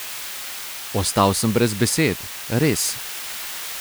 Ostal sem brez besed, res.